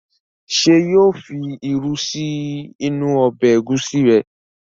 Ṣé yóò fi irú sí inú ọbẹ̀ ẹ̀gúsí rẹ̀?